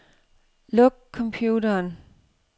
Luk computeren.